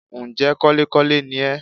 Ǹ jẹ́ kọ́lékọ́le ni ẹ́